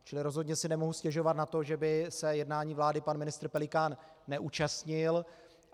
Čili rozhodně si nemůžu stěžovat na to, že by se jednání vlády pan ministr Pelikán neúčastnil.